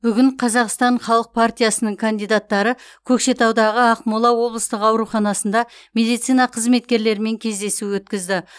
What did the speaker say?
бүгін қазақстан халық партиясының кандидаттары көкшетаудағы ақмола облыстық ауруханасында медицина қызметкерлерімен кездесу өткізді